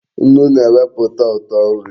Nnu na-eweputa uto nri